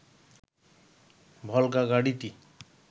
ভলগা গাড়িটি